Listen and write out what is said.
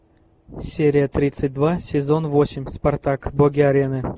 серия тридцать два сезон восемь спартак боги арены